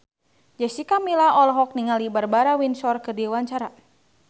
Jessica Milla olohok ningali Barbara Windsor keur diwawancara